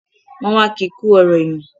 Wọ́n wá ki kú ọ̀rọ̀ èèyàn